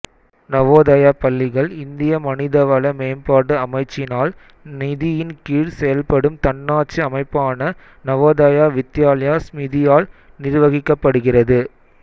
நவோதயா பள்ளிகள் இந்திய மனிதவள மேம்பாட்டு அமைச்சினால் நிதியின் கீழ் செயல்படும் தன்னாட்சி அமைப்பான நவோதயா வித்யாலயா ஸ்மிதியால் நிர்வகிக்கப்படுகிறது